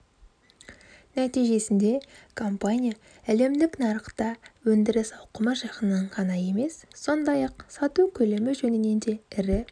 нәтижесінде компания әлемдік нарықта өндіріс ауқымы жағынан ғана емес сондай-ақ сату көлемі жөнінен де ірі